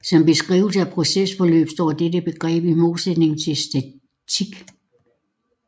Som beskrivelse af procesforløb står dette begreb i modsætning til statik